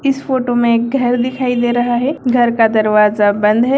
इस फोटो में एक घर दिखाई दे रहा है घर का दरवाजा बंद है।